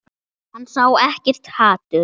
Hann sá ekkert hatur.